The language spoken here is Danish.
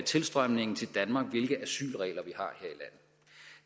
tilstrømningen til danmark hvilke asylregler